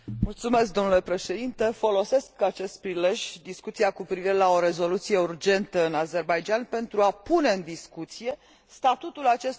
Folosesc acest prilej, discuția cu privire la o rezoluție urgentă referitoare la Azerbaidjan, pentru a pune în discuție statutul acestor rezoluții de urgență.